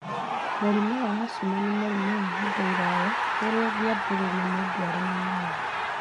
mũrimũ wa asthma nĩ mũrimũ wa ihinda iraya ũrĩa ũngĩambĩrĩria mũndũ arĩ mũnini.